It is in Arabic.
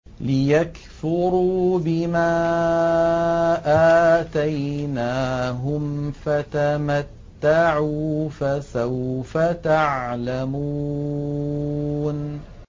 لِيَكْفُرُوا بِمَا آتَيْنَاهُمْ ۚ فَتَمَتَّعُوا ۖ فَسَوْفَ تَعْلَمُونَ